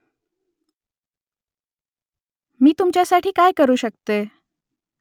मी तुमच्यासाठी काय करू शकते ?